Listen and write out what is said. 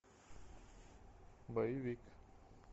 боевик